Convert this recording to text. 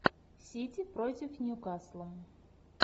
сити против ньюкасла